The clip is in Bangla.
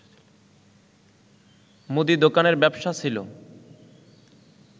মুদি দোকানের ব্যবসা ছিল